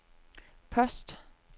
post